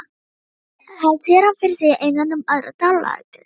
Hann sér hana fyrir sér innan um aðra dvalargesti í